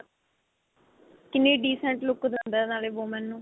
ਕਿੰਨੀ decent look ਦਿੰਦਾ ਨਾਲੇ women ਨੂੰ